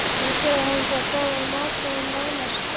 Nú gerði hann það, sagði Marteinn nánast angurvær.